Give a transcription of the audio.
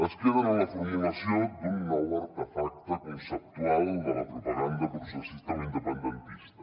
es queden en la formulació d’un nou artefacte conceptual de la propaganda processista o independentista